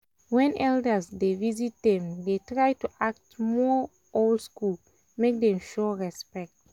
when elders dey visit them dey try to act more old school make them show respect